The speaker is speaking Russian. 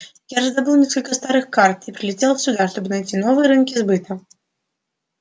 я раздобыл несколько старых карт и прилетел сюда чтобы найти новые рынки сбыта